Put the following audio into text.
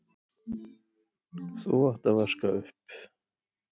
þú átt að vaska upp.